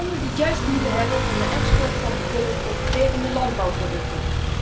Landen die het juist moeten hebben van de export van bijvoorbeeld concurrerende landbouwproducten.